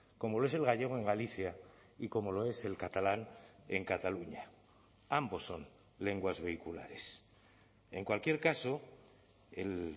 como lo es el gallego en galicia y como lo es el catalán en cataluña ambos son lenguas vehiculares en cualquier caso el